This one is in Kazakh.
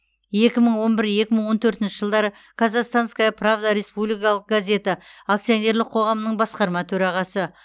екі мың он бір екі мың он төртінші жылдары казахстанская правда республикалық газеті акционерлік қоғамының басқарма төрағасы